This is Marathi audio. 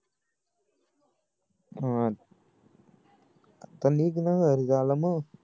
आह निघ ना घरी जायला मग